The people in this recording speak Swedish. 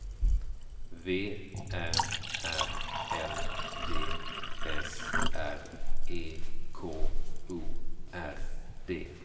V Ä R L D S R E K O R D